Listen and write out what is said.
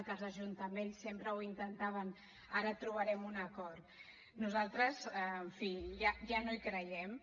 que els ajuntaments sempre ho intentaven ara trobarem un acord nosaltres en fi ja no hi creiem